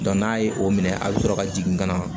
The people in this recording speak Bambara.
n'a ye o minɛ a bɛ sɔrɔ ka jigin ka na